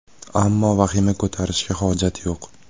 Ammo vahima ko‘tarishga hojat yo‘q.